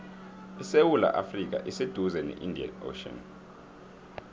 isewula afrika iseduze ne indian ocean